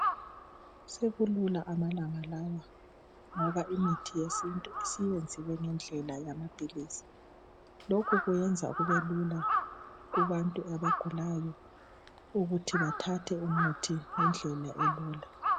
Sekulula amalangalawa ngoba imithi yesintu siyenziwe ngendlela yamaphilisi lokhu kwenza kubelula kubantu abagulayo ukuthi bathathe umuthi ngendlela elula